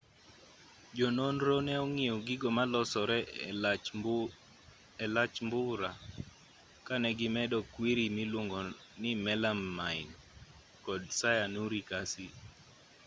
jononro ne ong'iyo gigo ma losore e lach mbura ka ne gimedo kwiri miluongoni melamine kod cyanuric acid